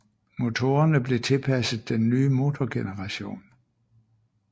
Motorerne blev tilpasset den nye motorgeneration